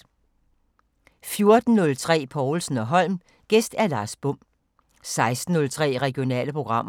14:03: Povlsen & Holm: Gæst Lars Bom 16:03: Regionale programmer